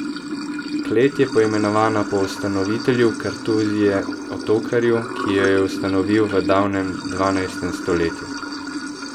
Klet je poimenovana po ustanovitelju kartuzije Otokarju, ki jo je ustanovil v davnem dvanajstem stoletju.